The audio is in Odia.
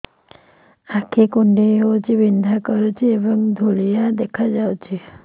ଆଖି କୁଂଡେଇ ହେଉଛି ବିଂଧା କରୁଛି ଏବଂ ଧୁଁଆଳିଆ ଦେଖାଯାଉଛି